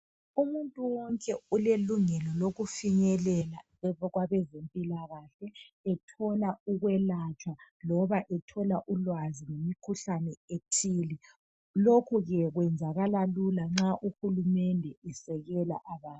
Umuntu wonke ulelungelo lokufinyelela kwabezempilakahle ethola ukwelatshwa loba ethola ulwazi ngemikhuhlane ethile lokhu ke kwenzakala lula nxa uhulumende esekela abantu.